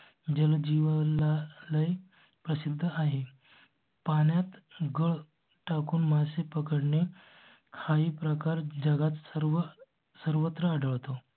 जलजीवालय आहेत. प्रसिद्ध आहे. पाण्यात गळ टाकून मासे पकडणे हाही प्रकार जगात सर्व सर्वत्र आढळतो.